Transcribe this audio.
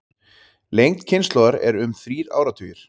Lengd kynslóðar er um þrír áratugir.